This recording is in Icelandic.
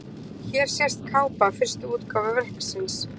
Hér sést kápa fyrstu útgáfu verksins.